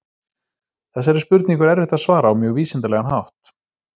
Þessari spurningu er erfitt að svara á mjög vísindalegan hátt.